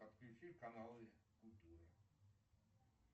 подключи каналы культуры